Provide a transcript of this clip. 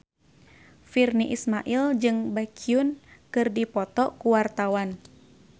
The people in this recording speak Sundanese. Virnie Ismail jeung Baekhyun keur dipoto ku wartawan